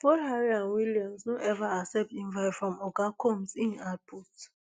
both harry and william no ever accept invite from oga combs im put